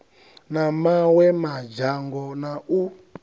na mawe madzhango na u